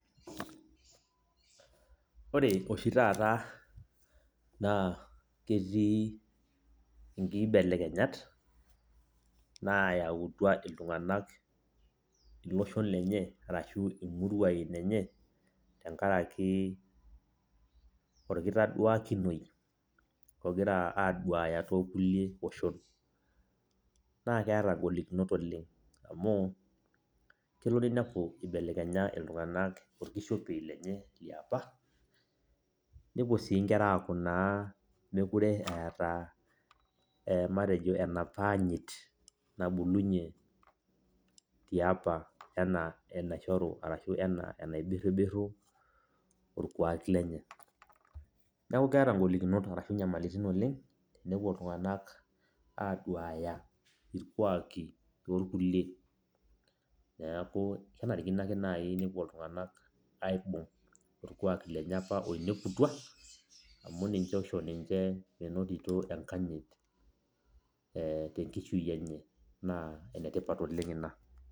Wore oshi taata, naa ketii inkibelekenyat naayautua iltunganak iloshon lenye arashu imuruain enye, tenkaraki orkitaduakinoi okira aaduaya toolkulie oshon. Naa keeta ingolikinot oleng',amu, kelo niniapu ibelekenya iltunganak orkishopei lenye liapa, nepuo sii inkera aaku naa mekure eeta eh matejo enapa anyit nabulunyie tiapa enaa enaishoru arashu enaa enaibirribirru orkuak lenye. Neeku keata ingolikinot arashu inyamalitin oleng', tenepuo iltunganak aaduaya irkuaki loorkulie, neeku kenarikino ake naai nepuo iltunganak aibung orkuak lenye apa oineputua amu ninye oisho niche meinoto enkanyit eh tenkishui enye naa enetipat oleng' ina.